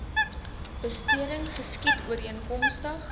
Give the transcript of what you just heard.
besteding geskied ooreenkomstig